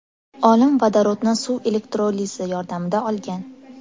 Olim vodorodni suv elektrolizi yordamida olgan.